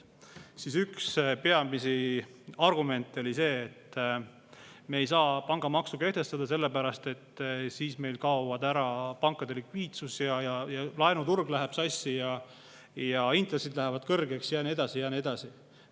Siis üks peamisi argumente oli see, et me ei saa pangamaksu kehtestada selle pärast, et siis meil kaob ära pankade likviidsus, laenuturg läheb sassi, intressid lähevad kõrgeks ja nii edasi ja nii edasi.